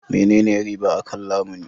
Menene riba akan lamuni?